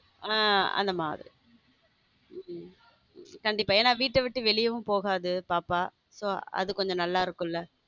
ஹம் அந்த மாதிரி கண்டிப்பா என வீட்டை விட்டு வெளியிலும் போகாது பாப்பா அது கொஞ்சம் நல்லா இருக்கும்ல.